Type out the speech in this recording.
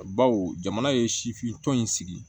Baw jamana ye sifin tɔn in sigi